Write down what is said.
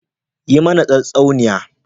Yi mana tatsuniya.